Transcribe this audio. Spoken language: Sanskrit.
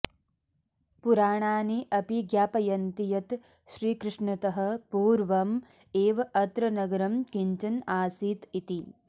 पुराणानि अपि ज्ञापयन्ति यत् श्रीकृष्णतः पूर्वम् एव अत्र नगरं किञ्चन आसीत् इति